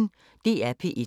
DR P1